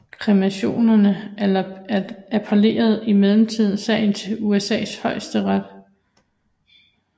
Kreationisterne appellerede imidlertid sagen til USAs højesteret